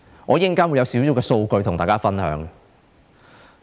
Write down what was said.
我稍後會有少許數據與大家分享。